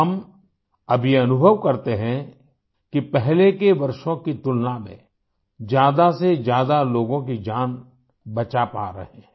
हम अब ये अनुभव करते हैं कि पहले के वर्षों की तुलना में ज़्यादा से ज़्यादा लोगों की जान बचा पा रहे हैं